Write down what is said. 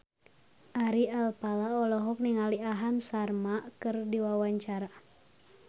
Ari Alfalah olohok ningali Aham Sharma keur diwawancara